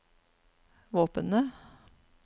våpenet